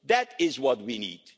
That is what we need.